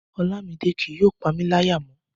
Ọlamide kì yóò pamí láyà mọ́